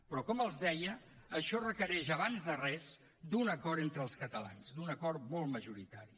però com els deia això requereix abans de res un acord entre els catalans un acord molt majoritari